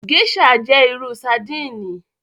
Gèṣà jẹ iru sardini